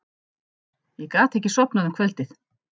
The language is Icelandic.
Ég gat ekki sofnað um kvöldið.